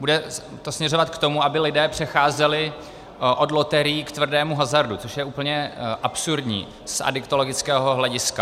bude to směřovat k tomu, aby lidé přecházeli od loterií k tvrdému hazardu, což je úplně absurdní z adiktologického hlediska.